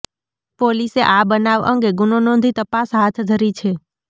પોલીસે આ બનાવ અંગે ગુનો નોંધી તપાસ હાથ ધરી છે